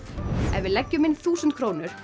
ef við leggjum inn þúsund krónur